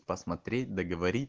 посмотреть договори